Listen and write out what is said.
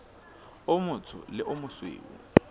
o motsho le o mosweu